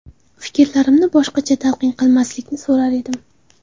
Fikrlarimni boshqacha talqin qilmaslikni so‘rar edim.